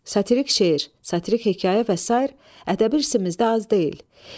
Satirik şeir, satirik hekayə və sair ədəbi irsimizdə az deyil.